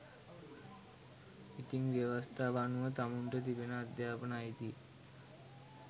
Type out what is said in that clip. ඉතිං ව්‍යවස්තාව අනුව තමුන්ට තිබෙන අධ්‍යාපනය අයිතිය